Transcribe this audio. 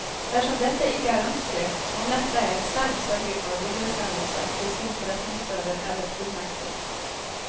Dersom dette ikke er ønskelig, må netteier selv sørge for videresendelse til sin forretningsfører eller fullmektig.